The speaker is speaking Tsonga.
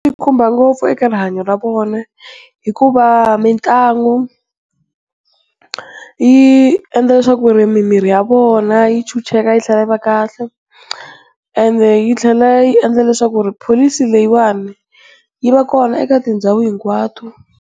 Yi khumba ngopfu eka rihanyo ra vona, hikuva mitlangu yi endla leswaku mimiri ya vona yi chucheka yi tlhela yi va kahle, and yi tlhela yi endlaka leswaku pholisi leyiwani yi va kona eka tindhawu hinkwato.